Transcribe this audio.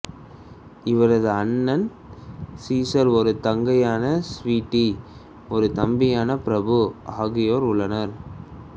இவரது அண்ணன் சீசர் ஒரு தங்கையான ஸ்வீட்டி ஒரு தம்பியான பிரபு ஆகியோர் உள்ளனர்